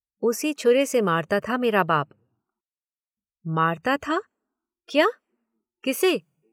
उसी छुरे से मारता था मेरा बाप। मारता था? क्या? किसे?